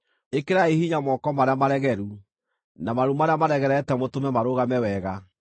Ĩkĩrai hinya moko marĩa maregeru, na maru marĩa maregerete mũtũme marũgame wega;